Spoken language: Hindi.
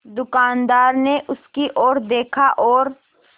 दुकानदार ने उसकी ओर देखा और